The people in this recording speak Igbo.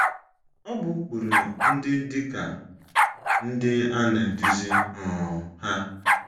Ọ bụ ụkpụrụ ndị dị ka ndị a na - eduzi um ha: